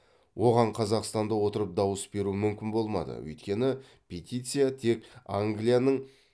оған қазақстанда отырып дауыс беру мүмкін болмады өйткені петиция тек англияның